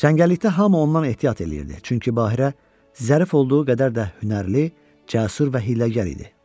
Çəngəllikdə hamı ondan ehtiyat eləyirdi, çünki Bahirə zərif olduğu qədər də hünərli, cəsur və hiyləgər idi.